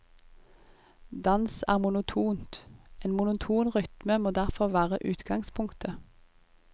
Dans er monotont, en monoton rytme må derfor være utgangspunktet.